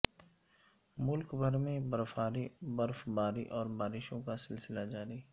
ملک بھر میں برفباری اور بارشوں کا سلسلہ جاری